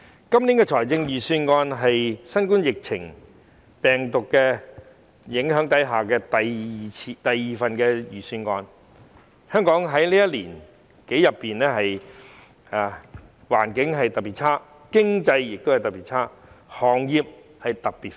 今年的財政預算案是在新冠病毒疫情影響下的第二份預算案，香港在這一年多裏，環境特別差、經濟特別差、行業特別苦。